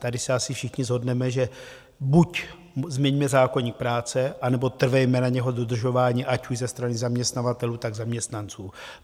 Tady se asi všichni shodneme, že buď změňme zákoník práce, anebo trvejme na jeho dodržování, ať už ze strany zaměstnavatelů, tak zaměstnanců.